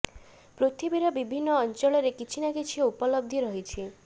ପୃଥିବୀର ବିଭିନ୍ନ ଅଂଚଳରେ କିଛି ନା କିଛି ଉପଲବ୍ଧି ରହିଛି